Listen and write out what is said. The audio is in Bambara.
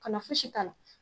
Ka na fosi k'a la.